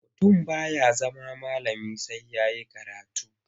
Mutum ba ya zama malami sai ya yi karatu.